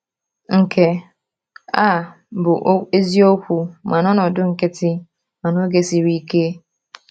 Nke a bụ eziokwu ma n’ọnọdụ nkịtị ma n’oge siri ike.